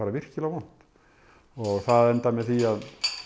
virkilega vont og það endaði með því að